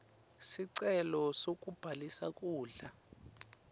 sicelo sekubhalisa kudla